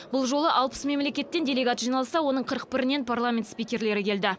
бұл жолы алпыс мемлекеттен делегат жиналса оның қырық бірінен парламент спикерлері келді